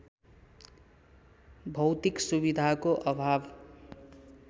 भौतिक सुविधाको अभाव